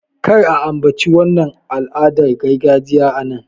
Kar a ambaci wannan al'adar gargajiya a nan!